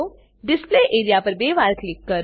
display area પર બે વાર ક્લિક કરો